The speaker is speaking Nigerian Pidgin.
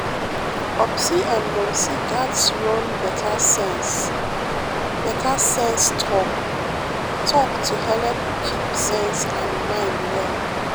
popsi and momsi gatz run better sense better sense talk-talk to helep keep sense and mind well.